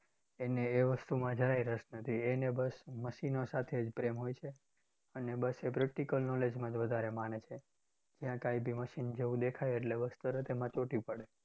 એને એ વસ્તુમાં જરાય રસ નથી. એને બસ મશીનો સાથે જ પ્રેમ હોય છે. અને બસ એ practical knowledge માં જ વધારે માને છે. જ્યાં કાંઈ ભી મશીન જેવું દેખાય એટલે બસ તરત એમાં ચોંટી પડે.